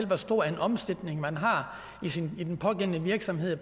hvor stor en omsætning man har i den pågældende virksomhed i